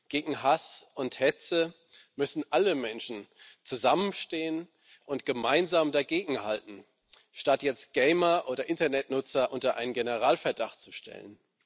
Gegen Hass und Hetze müssen alle Menschen zusammenstehen und gemeinsam dagegenhalten, statt jetzt Gamer oder Internetnutzer unter Generalverdacht zu stellen.